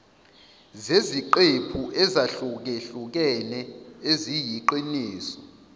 zeziqephu ezahlukehlukene eziyiqiniso